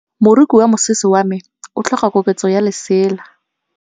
Moroki wa mosese wa me o tlhoka koketsô ya lesela.